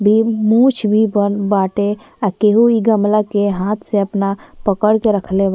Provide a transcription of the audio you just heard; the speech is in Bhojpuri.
बी मूंछ भी बन बाटे। आ केहू इ गमला के हाथ से अपना पकड़ के रखले बा।